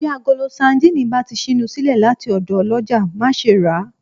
Bí agolo sandínì bá ti ṣínu sílẹ̀ láti ọ̀dọ̀ ọlọ́jà, má ṣe ràá